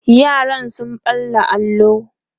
yaran sun ɓalla allo